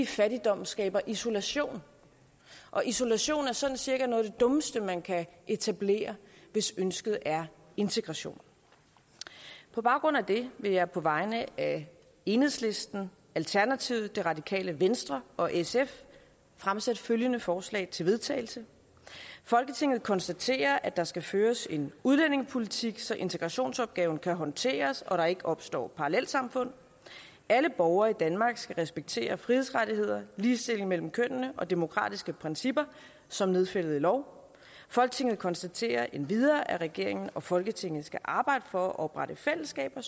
fattigdom skaber isolation og isolation er sådan cirka noget af det dummeste man kan etablere hvis ønsket er integration på baggrund af det vil jeg på vegne af enhedslisten alternativet det radikale venstre og sf fremsætte følgende forslag til vedtagelse folketinget konstaterer at der skal føres en udlændingepolitik så integrationsopgaven kan håndteres og der ikke opstår parallelsamfund alle borgere i danmark skal respektere frihedsrettigheder ligestilling mellem kønnene og demokratiske principper som nedfældet i lov folketinget konstaterer endvidere at regeringen og folketinget skal arbejde for at oprette fællesskaber